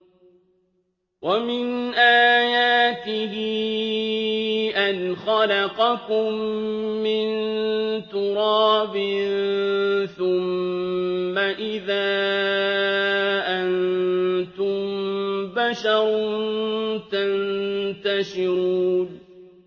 وَمِنْ آيَاتِهِ أَنْ خَلَقَكُم مِّن تُرَابٍ ثُمَّ إِذَا أَنتُم بَشَرٌ تَنتَشِرُونَ